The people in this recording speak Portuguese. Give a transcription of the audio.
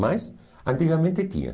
Mas, antigamente tinha.